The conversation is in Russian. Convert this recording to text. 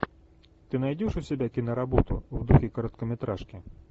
ты найдешь у себя киноработу в духе короткометражки